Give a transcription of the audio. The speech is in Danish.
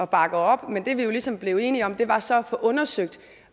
bakke op men det vi jo ligesom blev enige om var så at få undersøgt